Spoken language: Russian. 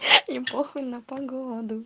мне похуй на погоду